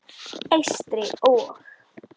Eystri- og